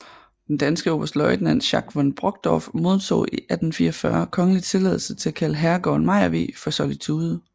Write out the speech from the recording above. Den danske oberstløjtnant Schack von Brockdorf modtog i 1844 kongelig tilladelse til at kalde herregården Mejervig for Solitude